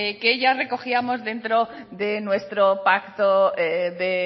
que ya recogíamos dentro de nuestro pacto de